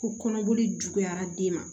Ko kɔnɔboli juguyara den ma